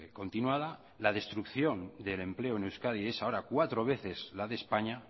continuada la destrucción del empleo eneuskadi es ahora cuatro veces la de españa